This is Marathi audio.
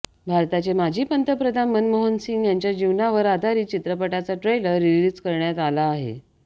भारताचे माजी पंतप्रधान मनमोहन सिंग यांच्या जीवनावर आधारित चित्रपटाचा ट्रेलर रिलीज करण्यात आला आहे